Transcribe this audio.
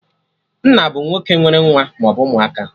Nna bụ nwoke nwere nwa maọbụ ụmụaka